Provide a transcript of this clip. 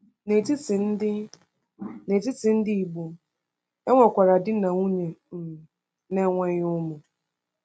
N’etiti ndị N’etiti ndị Igbo, e nwekwara di na nwunye um na-enweghị ụmụ.